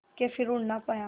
के फिर उड़ ना पाया